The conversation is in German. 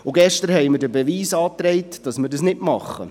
Und gestern haben wir den Beweis angetreten, dass wir das nicht tun.